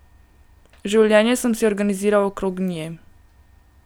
Življenje sem si organiziral okrog nje.